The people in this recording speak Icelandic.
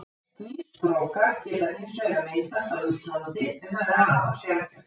Skýstrókar geta hins vegar myndast á Íslandi, en það er afar sjaldgæft.